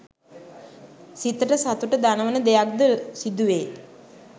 සිතට සතුට දනවන දෙයක් ද සිදුවේ